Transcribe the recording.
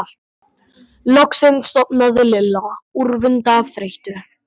Loksins sofnaði Lilla úrvinda af þreytu.